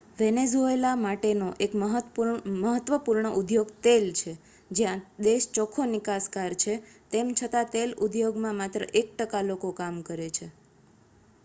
Venezuela માટેનો એક મહત્વપૂર્ણ ઉદ્યોગ તેલ છે જ્યાં દેશ ચોખ્ખો નિકાસકાર છે તેમ છતાં તેલ ઉદ્યોગમાં માત્ર એક ટકા લોકો કામ કરે છે